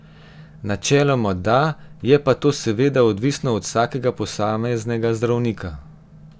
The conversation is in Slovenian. Načeloma da, je pa to seveda odvisno od vsakega posameznega zdravnika.